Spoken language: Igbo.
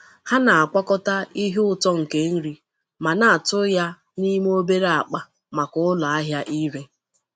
Ha na-akwọkọta ihe ụtọ nke nri ma na-atụ ya n’ime obere akpa maka ụlọ ahịa ire.